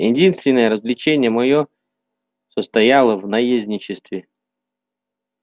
единственное развлечение моё состояло в наездничестве